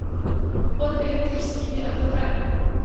под электрическими облаками